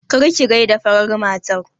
Kar ki gaida farar matar!